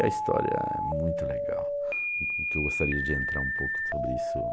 E a história é muito legal, que eu gostaria de entrar um pouco sobre iisso